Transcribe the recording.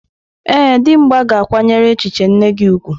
Ee, Dimgba ga-akwanyere echiche nne gi ugwu.